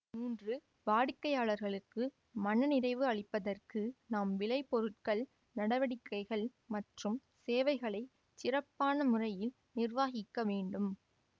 மூன்று வாடிக்கையாளர்களுக்கு மன நிறைவை அளிப்பதற்கு நாம் விளைபொருட்கள் நடவடிக்கைகள் மற்றும் சேவைகளைச் சிறப்பான முறையில் நிர்வகிக்க வேண்டும்